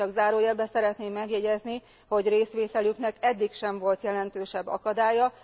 Csak zárójelben szeretném megjegyezni, hogy részvételüknek eddig sem volt jelentősebb akadálya.